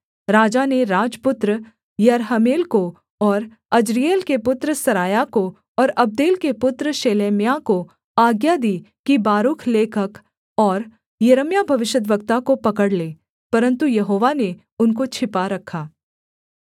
राजा ने राजपुत्र यरहमेल को और अज्रीएल के पुत्र सरायाह को और अब्देल के पुत्र शेलेम्याह को आज्ञा दी कि बारूक लेखक और यिर्मयाह भविष्यद्वक्ता को पकड़ लें परन्तु यहोवा ने उनको छिपा रखा